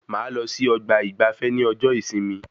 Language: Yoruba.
Máa lọ sí ọgbà ìgbafé ní ọjọ ìsinmi